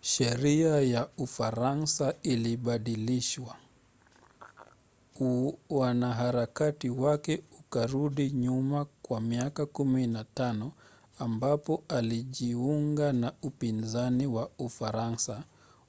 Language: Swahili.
sheria ya ufaransa ilibadilishwa. uanaharakati wake ukarudi nyuma kwa miaka 15 ambapo alijiunga na upinzani wa ufaransa